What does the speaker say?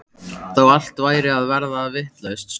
Þó allt væri að verða vitlaust stóð